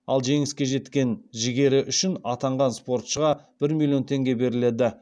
ал жеңіске деген жігері үшін атанған спортшыға бір миллион теңге беріледі